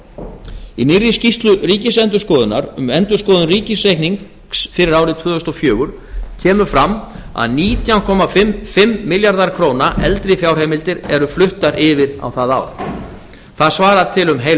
veru í nýrri skýrslu ríkisendurskoðunar um endurskoðun ríkisreiknings fyrir árið tvö þúsund og fjögur kemur fram að nítján komma fimm milljarðar króna eldri fjárheimildir eru fluttar yfir á það ár það svarar til um heil